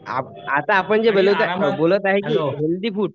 आता आपण जे हेल्थी फूड